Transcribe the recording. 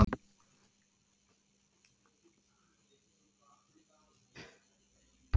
Þá er sérstaklega minnst á gangráða og önnur álíka hjálpartæki í þessu samhengi.